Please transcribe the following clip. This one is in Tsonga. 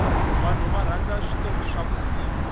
vanhu varhandza switori swa vusiku